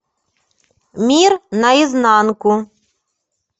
мир наизнанку